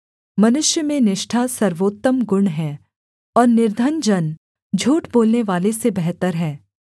मनुष्य में निष्ठा सर्वोत्तम गुण है और निर्धन जन झूठ बोलनेवाले से बेहतर है